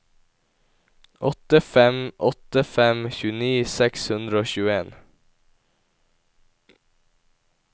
åtte fem åtte fem tjueni seks hundre og tjueen